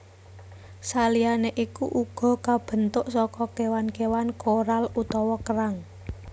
Saliyané iku uga kabentuk saka kéwan kéwan koral utawa kerang